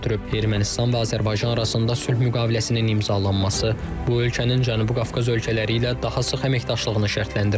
Ermənistan və Azərbaycan arasında sülh müqaviləsinin imzalanması bu ölkənin Cənubi Qafqaz ölkələri ilə daha sıx əməkdaşlığını şərtləndirəcək.